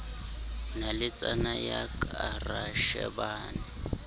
naletsana ya ka ra shebana